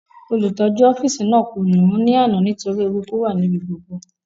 Olùtọ́jú ọ́fìsì náà kò nù ún ní àná torí eruku wà níbi gbogbo